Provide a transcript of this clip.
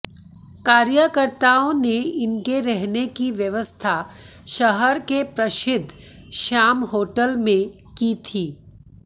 कार्यकर्ताओं ने इनके रहने की व्यवस्था शहर के प्रसिद्ध श्याम होटल में की थी